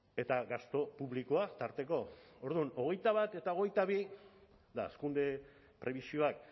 eta gastu publikoa tarteko orduan hogeita bat eta hogeita bi eta hazkunde prebisioak